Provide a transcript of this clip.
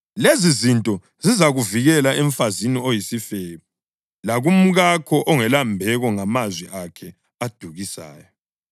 lezizinto zizakuvikela emfazini oyisifebe, lakumkakho ongelambeko ngamazwi akhe adukisayo.